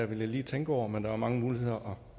vil jeg lige tænke over men der er mange måder